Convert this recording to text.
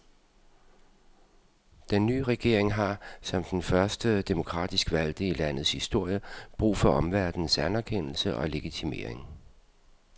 Den nye regering har, som den første demokratisk valgte i landets historie, brug for omverdenens anerkendelse og legitimering.